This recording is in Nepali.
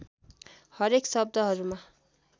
हरेक शब्दहरूमा